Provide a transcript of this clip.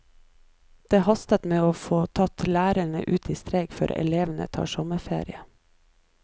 Det haster med å få tatt lærerne ut i streik før elevene tar sommerferie.